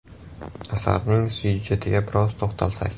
Asarning syujetiga biroz to‘xtalsak.